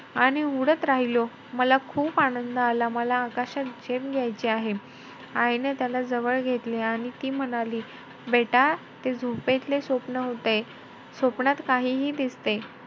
आणि उडत राहिलो. मला खूप आनंद आला. मला आकाशात झेप घायची आहे. आईने त्याला जवळ घेतले आणि ती म्हणाली, बेटा ते झोपेतले स्वप्न होते. स्वप्नात काहीही दिसते.